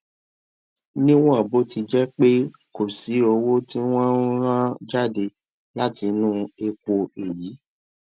níwòn bó ti jé pé kò sí owó tí wón ń rán jáde látinú epo èyí